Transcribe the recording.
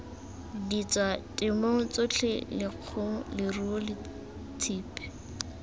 ditswatemong tsotlhe lekgong leruo tshipi